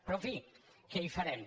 però en fi què hi farem